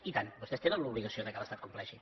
i tant vostès tenen l’obligació que l’estat complexi